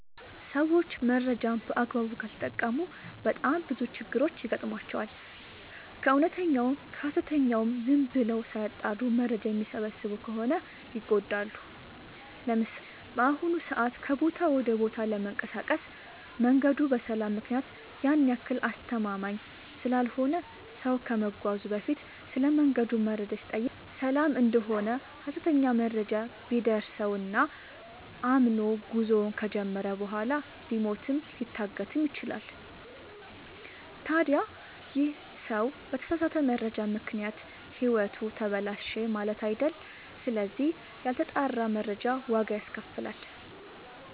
ሰዎች መረጃን በአግባቡ ካልተጠቀሙ በጣም ብዙ ችግሮች ይገጥሟቸዋል። ከእውነተኛውም ከሀሰተኛውም ዝም ብለው ሳያጠሩ መረጃ የሚሰበስቡ ከሆነ ይጎዳሉ። ለምሳሌ፦ በአሁኑ ሰዓት ከቦታ ወደ ቦታ ለመንቀሳቀስ መንገዱ በሰላም ምክንያት ያን ያክል አስተማመምኝ ስላልሆነ ሰው ከመጓዙ በፊት ስለመንገዱ መረጃ ሲጠይቅ ሰላም እደሆነ ሀሰተኛ መረጃ ቢደርሰው እና አምኖ ጉዞውን ከጀመረ በኋላ ሊሞትም ሊታገትም ይችላል። ታዲ ይህ ሰው በተሳሳተ መረጃ ምክንያት ህይወቱ ተበላሸ ማለት አይደል ስለዚህ ያልተጣራ መረጃ ዋጋ ያስከፍላል።